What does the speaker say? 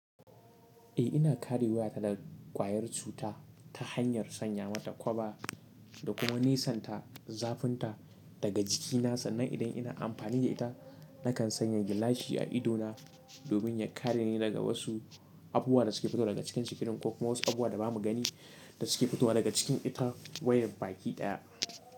Eh ina kare wayata da kwayar cuta ta hanyar sanya mata kwaba Da kuma nisanta zafinta daga jikina sannan idan ina amfani da ita nakan sanya gilashi a ido na Domin ya kare ni daga wasu abubuwa da suke fitowa daga cikin screen ko kuma, wasu abubuwa da ba mu gani Da suke fitowa daga cikin ita wayar baki ɗaya.